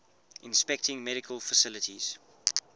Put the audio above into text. inspecting medical facilities